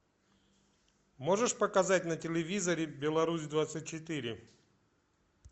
можешь показать на телевизоре беларусь двадцать четыре